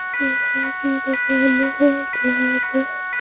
sofa की दुकान है जहां पर--